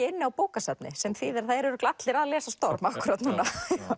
inni á bókasafni sem þýðir að það eru örugglega allir að lesa storm akkúrat núna